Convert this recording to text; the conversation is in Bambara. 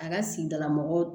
A ka sigidala mɔgɔw